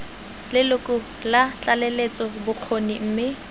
leloko la tlaleletso bokgoni mme